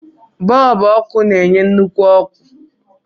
Bọlbụ ọkụ na-enye nnukwu ọkụ.